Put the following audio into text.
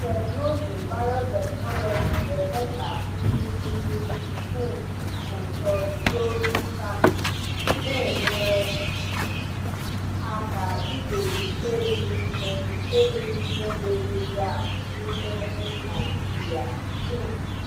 Teknụzụ biotechnology na-eme ka nduku dị um ụtọ juo vitamin, na-enyere aka igbochi erighị ihe erighị ihe na-edozi ahụ n’ime nri Naijiria. um